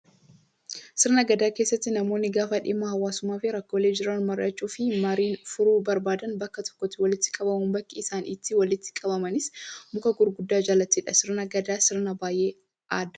Sirna gadaa keessatti namoonni gaafa dhimma hawaasummaa fi rakkoolee jiran mari'achuu fi mariin furuu barbaadan bakka tokkotti walitti qabu. Bakki isaan itti walitti qabamanis muka gurguddaa jalattidha. Sirni gadaa sirna baay'ee addaati.